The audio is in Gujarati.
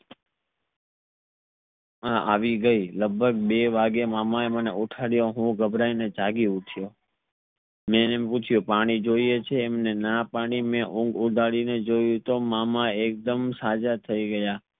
આવી ગઈ લગભગ બે વાગીએ મને મામા એ ઉથડિયો હું ઘબરાઈ ને જાગી ઉઠ્યો મે અને પૂછ્યું પાણી જોઇયે છે અમને ના પડી મે ઊંઘ ઉડાડી ને જોયું તો મામા એકદમ સજા થઈ ગયા